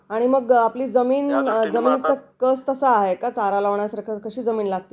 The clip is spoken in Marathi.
आणि मग आपली जमीन कस तसा आहे का चारा लावण्यासारखं कशी जमीन आहे आपली ?